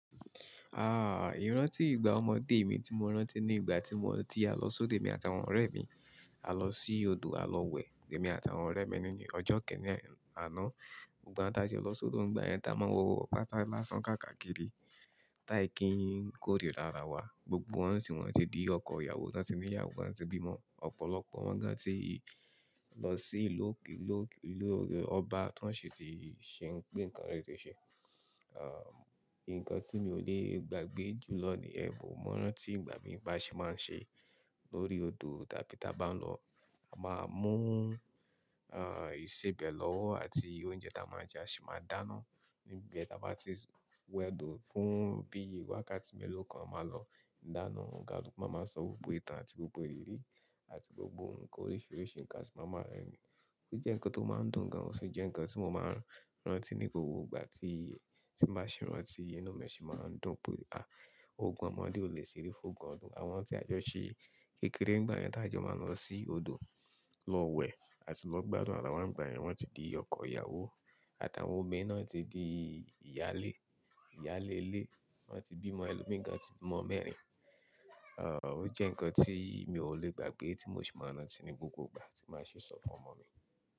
Ah, ìrántí ìgbà ọmọdé mi tí mo rántí ní ìgbà tí mo ti a lọ sóde mi àtàwọn ọ̀rẹ́ mi. A lọ sí odò, a lọ wẹ̀, èmi àtàwọn ọ̀rẹ́ mi nínú ọjọ́ kẹ́rin àná. Igba ti a jo lo si odo nígbà yẹn ta máa ń wọ ọkọ̀ bàtà lásán káàkiri. Táì kí ń kórìíra ara wa, gbogbo wọn sì wọ́n ti di ọkọ ìyàwó, wọ́n ti ní ìyàwó, wọ́n ti bímọ. Ọ̀pọ̀lọpọ̀ wọn gan tí lọ sí ìlú ọba tí wọ́n sì ti ṣe ohun kan rere ṣe. Ah, nǹkan tí mi ò lè gbàgbé jùlọ nìyẹn, mo rántí ìgbà mi bá ṣe máa ń ṣe lórí odò, tí a bá ń lọ, a máa mú ah, ìsebẹ̀ lọ́wọ́ àti oúnjẹ tí a máa jẹ a si máa dáná níbe ti a bá ti wẹ òdo fún bí i wákàtí mélòó kan a máa lọ dáná. Ǹkan, olùkọ́ máa sọ gbogbo ìtàn àti gbogbo ìrírí àti gbogbo ǹkan oríṣiríṣi ǹkan a si maa máa rẹ́rìn-ín. Ó jẹ́ ǹkan tó máa ń dùn gan, ó sì jẹ́ ǹkan tí mo máa ń rántí ní gbogbo ìgbà tí, tí màá ṣe rántí inú mi sì máa ń dùn pé, ah, ogun ọmọdé ò lè ṣeré fún ogun ọ̀dún. Àwọn tí a jọ ṣí kékeré nígbà yẹn tá a jọ máa ń lọ sí odò lọ wẹ̀, àti lọ gbádùn ara wa nígbà yẹn, wọ́n ti di ọkọ ìyàwó, àtàwọn obìnrin náà ti di ìyálé, ìyálélé, wọ́n ti bímọ, ẹlòmíràn ti bímọ mẹ́rin. Ah, ó jẹ́ ǹkan tí mi ò lè gbàgbé tí mo sì máa ń rántí ní gbogbo ìgbà tí màá ṣe sọ fún ọmọ mi.